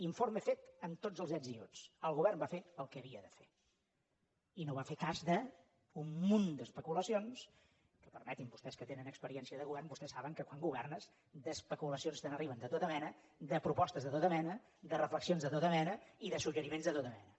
informe fet amb tots els ets i uts el govern va fer el que havia de fer i no va fer cas d’un munt d’especulacions que permeti’m vostès que tenen experiència de govern vostès saben que quan governes d’especulacions te n’arriben de tota mena de propostes de tota mena de reflexions de tota mena i de suggeriments de tota mena